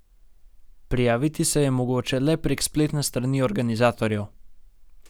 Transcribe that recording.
Prijaviti se je mogoče le prek spletne strani organizatorjev.